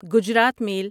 Gujarat میل